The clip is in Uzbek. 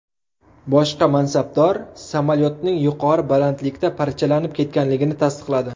Boshqa mansabdor samolyotning yuqori balandlikda parchalanib ketganligini tasdiqladi.